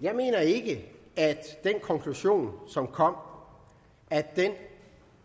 jeg mener ikke at den konklusion som kom